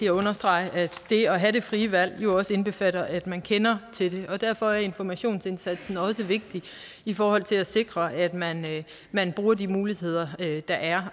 at understrege at det at have det frie valg jo også indbefatter at man kender til det og derfor er informationsindsatsen også vigtig i forhold til at sikre at man man bruger de muligheder der er